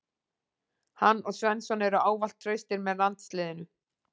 Hann og Svensson eru ávallt traustir með landsliðinu.